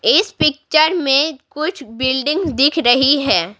इस पिक्चर में कुछ बिल्डिंग दिख रही है।